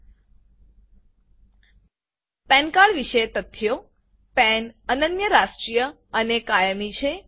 પાન cardપેન કાર્ડ વિશે તથ્યો પાન પેન અનન્ય રાષ્ટ્રીય અને કાયમી છે